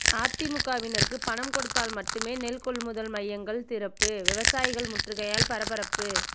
அதிமுகவினருக்கு பணம் கொடுத்தால் மட்டுமே நெல் கொள்முதல் மையங்கள் திறப்பு விவசாயிகள் முற்றுகையால் பரபரப்பு